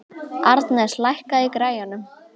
Arnes, lækkaðu í græjunum.